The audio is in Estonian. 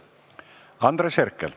Andres Herkel.